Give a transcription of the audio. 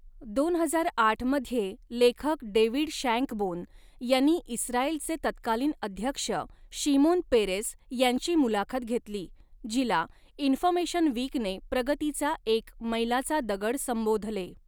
दोन हजार आठ मध्ये लेखक डेव्हिड शँकबोन यांनी इस्रायलचे तत्कालीन अध्यक्ष शिमोन पेरेस यांची मुलाखत घेतली, जिला इन्फर्मेशन वीकने प्रगतीचा एक मैलाचा दगड संबोधले.